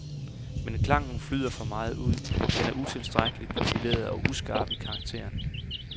Men klangen flyder for meget ud, den er utilstrækkeligt profileret og uskarp i karakteren.